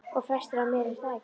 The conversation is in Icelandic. Og flestar af mér, er það ekki?